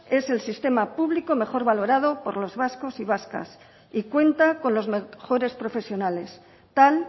es el sistema público mejor valorada por los vascos y vascas y cuenta con los mejores profesionales tal